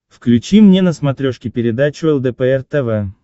включи мне на смотрешке передачу лдпр тв